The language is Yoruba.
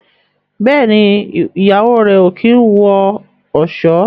Béèni Ìyàwó rẹ o kín wọ ọṣọ.